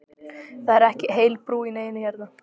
Það er ekki heil brú í neinu hérna!